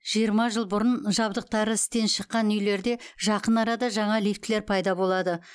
жиырма жыл бұрын жабдықтары істен шыққан үйлерде жақын арада жаңа лифтілер пайда болады